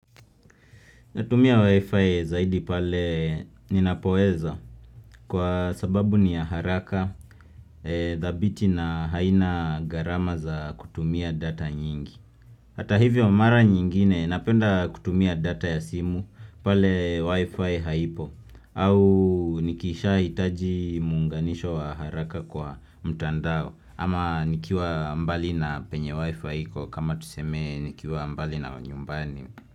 Natumia Wi-Fi zaidi pale ninapoweza kwa sababu ni ya haraka, thabiti na aina gharama za kutumia data nyingi. Hata hivyo mara nyingine napenda kutumia data ya simu pale Wi-Fi haipo au nikishahitaji muunganisho wa haraka kwa mtandao ama nikiwa mbali na penye Wi-Fi kwa kama tuseme nikiwa mbali na nyumbani.